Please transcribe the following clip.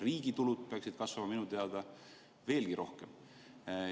Riigi tulud peaksid kasvama minu teada veelgi rohkem.